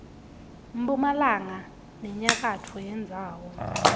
mphumalanga nenyakatfo yendzawo